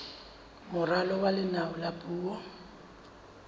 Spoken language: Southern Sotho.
moralo wa leano la puo